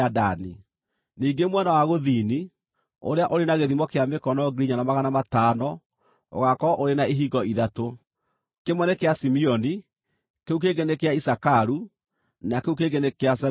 “Ningĩ mwena wa gũthini, ũrĩa ũrĩ na gĩthimo kĩa mĩkono 4,500, ũgaakorwo ũrĩ na ihingo ithatũ: kĩmwe nĩ kĩa Simeoni, kĩu kĩngĩ nĩ kĩa Isakaru, na kĩu kĩngĩ nĩ kĩa Zebuluni.